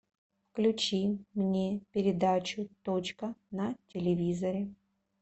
включи мне передачу точка на телевизоре